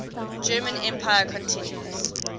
german empire continues